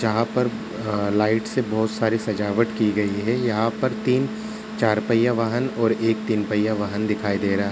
जहाँ पर अ लाइट्स से बोहुत सारी सजावट की गयी है। यहाँ पर तीन चारपहिया वाहन और एक तीनपहिया वाहन दिखाई दे रहा है।